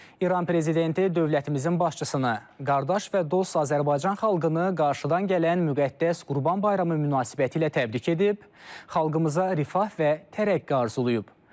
İran prezidenti dövlətimizin başçısını, qardaş və dost Azərbaycan xalqını qarşıdan gələn müqəddəs Qurban bayramı münasibətilə təbrik edib, xalqımıza rifah və tərəqqi arzulayıb.